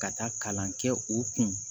Ka taa kalan kɛ u kun